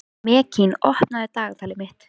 Mekkín, opnaðu dagatalið mitt.